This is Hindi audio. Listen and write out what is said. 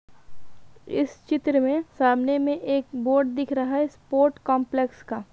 इस चित्र में सामने में एक बोर्ड दिख रहा है स्पोर्ट्स काम्प्लेक्स का।